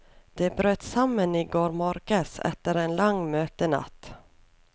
De brøt sammen i går morges etter en lang møtenatt.